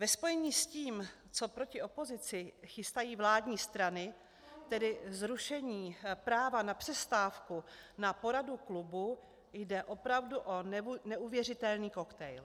Ve spojení s tím, co proti opozici chystají vládní strany, tedy zrušení práva na přestávku na poradu klubu, jde opravdu o neuvěřitelný koktejl.